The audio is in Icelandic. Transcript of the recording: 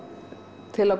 til að